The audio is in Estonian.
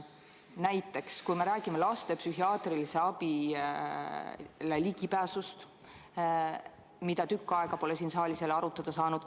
Näiteks võib tuua laste ligipääsu psühhiaatrilisele abile, mida tükk aega pole siin saalis jälle arutada saanud.